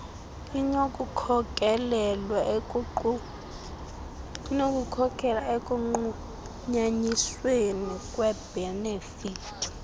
inokukhokelela ekunqunyanyisweni kweebhenefithi